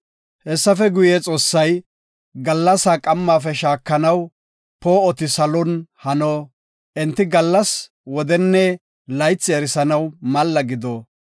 Hessafe guye, Xoossay, “Gallasa qammafe shaakanaw poo7oti salon hano. Enti qamanne, gallas, wodenne laythi erisanaw malla gido.